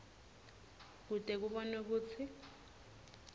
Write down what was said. kute kubonwe kutsi